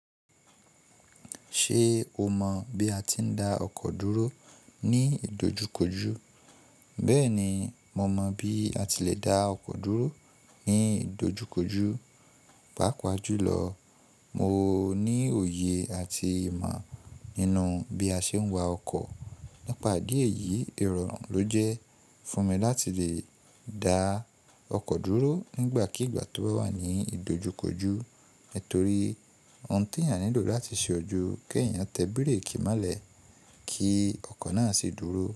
Ṣé o mọ̀ bí a ti ń dá ọkọ̀ dúró ní ìdojukoju? Bẹ́ẹ̀ni, mo mọ̀ bí a ti le dá ọkọ̀ dúró ní ìdojukoju. Páapa jùlọ, mo ní òye àti ìmọ̀ nínú bí a ṣe ń wa ọkọ̀. Nípa ìdí èyí, irọrun ló jẹ́ fún mi láti lè dá ọkọ̀ dúró nígbàkigbà tó bá wà ní ìdojukoju. Nítorí ohun tí èèyàn nílò láti ṣe o ju kí èèyàn tẹ bíréèkì molẹ̀ kí ọkọ̀ náà sì dúró.